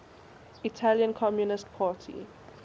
italian communist party